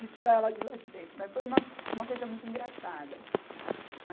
De tirar ela de lá de dentro, mas foi uma, uma coisa muito engraçada.